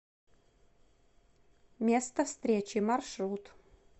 место встречи маршрут